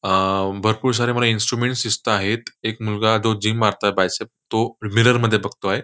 अम भरपूर सारे मला इन्स्ट्रुमेंटस् दिसताहेत एक मुलगा तो जिम मारतोय बायसेप तो मिरर मध्ये बघतोय.